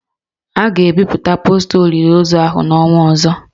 A ga-ebipụta posta olili ozu ahụ n'ọnwa ọzọ